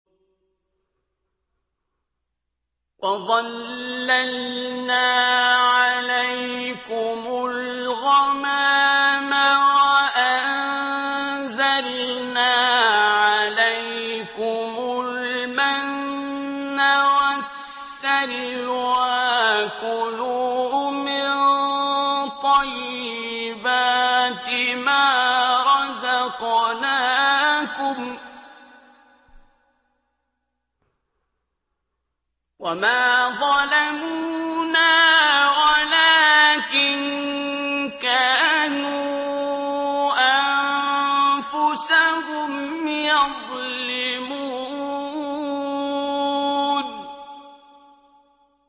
وَظَلَّلْنَا عَلَيْكُمُ الْغَمَامَ وَأَنزَلْنَا عَلَيْكُمُ الْمَنَّ وَالسَّلْوَىٰ ۖ كُلُوا مِن طَيِّبَاتِ مَا رَزَقْنَاكُمْ ۖ وَمَا ظَلَمُونَا وَلَٰكِن كَانُوا أَنفُسَهُمْ يَظْلِمُونَ